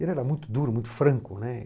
Ele era muito duro, muito franco, né?